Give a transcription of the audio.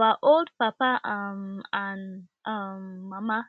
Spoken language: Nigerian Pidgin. our old papa um and um mama